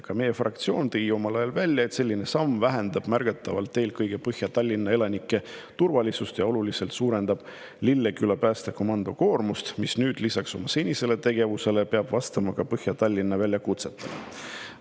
Ka meie fraktsioon tõi omal ajal välja, et selline samm vähendab märgatavalt eelkõige Põhja-Tallinna elanike turvalisust ja suurendab oluliselt Lilleküla päästekomando koormust, mis lisaks oma senisele tegevusele peab nüüd vastama ka Põhja-Tallinna väljakutsetele.